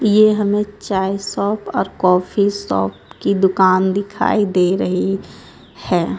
यह हमें चाय शॉप और कॉफी शॉप की दुकान दिखाई दे रही है.